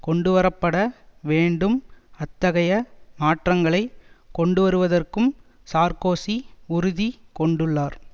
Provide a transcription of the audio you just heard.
கொண்டுவரப்பட வேண்டும் அத்தகைய மாற்றங்களை கொண்டுவருவதற்கும் சார்க்கோசி உறுதி கொண்டுள்ளார்